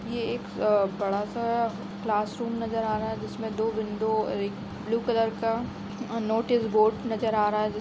ये एक अ बडा सा क्लास रूम नजर आ रहा है जिसमे दो विंडो और एक ब्लू कलर का नोटिस बोर्ड नज़र आ रहा है जिसमे --